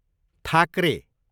Thackeray